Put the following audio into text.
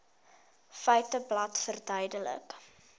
feiteblad verduidelik